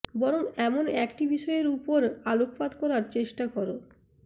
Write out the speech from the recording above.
বরং এমন একটি বিষয়ের উপর আলোকপাত করার চেষ্টা কর